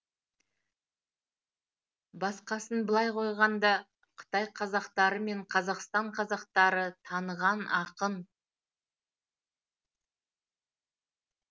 басқасын былай қойғанда қытай қазақтары мен қазақстан қазақтары таныған ақын